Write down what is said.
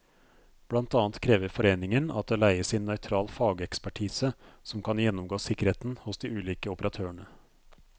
Blant annet krever foreningen at det leies inn nøytral fagekspertise som kan gjennomgå sikkerheten hos de ulike operatørene.